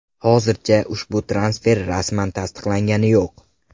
Hozircha ushbu transfer rasman tasdiqlangani yo‘q.